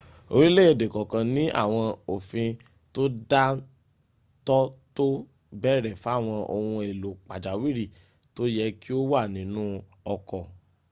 orílẹ̀èdè kọ̀ọ̀kan ní àwọn òfin tó dá ń tọ́ tó ń bèèrè fáwọn ohun èlò pàjáwìrì tó yẹ kí ó wà nínú ọkọ̀